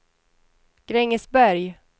Grängesberg